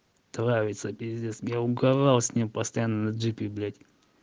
травица пиздец я угарал с ним постоянно на джипе блять